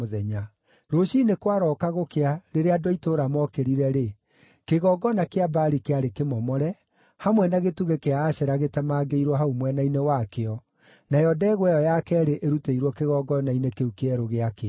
Rũciinĩ kwarooka gũkĩa rĩrĩa andũ a itũũra mookĩrire-rĩ, kĩgongona kĩa Baali kĩarĩ kĩmomore, hamwe na gĩtugĩ kĩa Ashera gĩtemangĩirwo hau mwena-inĩ wakĩo, nayo ndegwa ĩyo ya keerĩ ĩrutĩirwo kĩgongona-inĩ kĩu kĩerũ gĩakĩtwo!